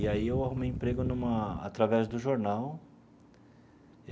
E aí eu arrumei emprego numa através do jornal.